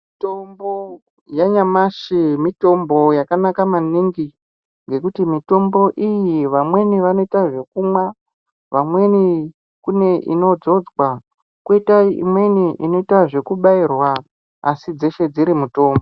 Mitombo yanyamashi mitombo yakanaka maningi ngekuti mitombo iyi vamweni vanoite zvekumwa, vamweni kune inodzodzwa koita imweni kune inobairwa asi dzeshe dziri mitombo.